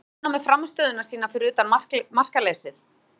Er hún ánægð með frammistöðu sína fyrir utan markaleysið?